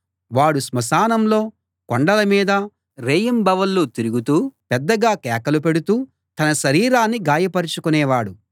వాడు స్మశానంలో కొండల మీదా రేయింబవళ్ళు తిరుగుతూ పెద్దగా కేకలు పెడుతూ తన శరీరాన్ని గాయపరచుకొనేవాడు